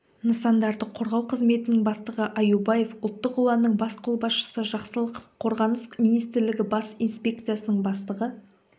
нысандарды қорғау қызметінің бастығы аюбаев ұлттық ұланның бас қолбасшысы жақсылықов қорғаныс министрлігі бас инспекциясының бастығы